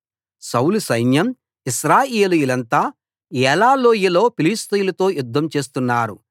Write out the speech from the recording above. సౌలు సైన్యం ఇశ్రాయేలీయులంతా ఏలా లోయలో ఫిలిష్తీయులతో యుద్ధం చేస్తున్నారు